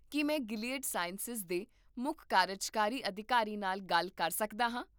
ਕੀ ਮੈਂ Gilead Sciences ਦੇ ਮੁੱਖ ਕਾਰਜਕਾਰੀ ਅਧਿਕਾਰੀ ਨਾਲ ਗੱਲ ਕਰ ਸਕਦਾ ਹਾਂ?